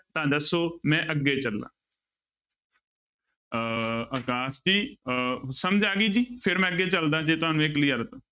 ਤਾਂ ਦੱਸੋ ਮੈਂ ਅੱਗੇ ਚੱਲਾਂ ਅਹ ਆਕਾਸ਼ ਜੀ ਅਹ ਸਮਝ ਆ ਗਈ ਜੀ, ਫਿਰ ਮੈਂ ਅੱਗੇ ਚੱਲਦਾ ਜੇ ਤੁਹਾਨੂੰ ਇਹ clear ਹੈ ਤਾਂ